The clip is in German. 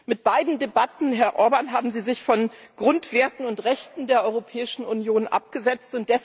Mit beiden Debatten, Herr Orbán, haben Sie sich von den Grundwerten und Rechten der Europäischen Union abgesetzt.